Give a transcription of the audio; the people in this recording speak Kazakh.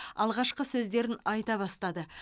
алғашқы сөздерін айта бастады